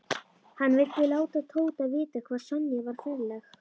Hann vildi láta Tóta vita hvað Sonja var ferleg.